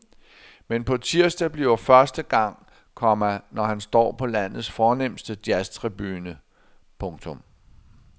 Men på tirsdag bliver første gang, komma han står på landets fornemste jazztribune. punktum